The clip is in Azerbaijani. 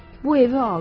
Bu evi aldım.